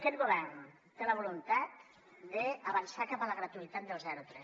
aquest govern té la voluntat d’avançar cap a la gratuïtat del zero tres